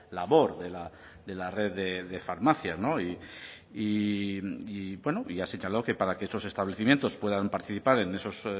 labor de la red de farmacias no y bueno y ya señaló que para que esos establecimientos puedan participar en esos